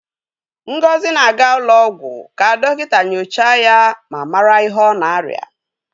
Ngozi na-aga ụlọ ọgwụ ka dọkịta nyochaa ya ma mara ihe ọ na-arịa.